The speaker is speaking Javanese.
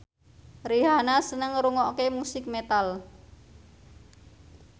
Rihanna seneng ngrungokne musik metal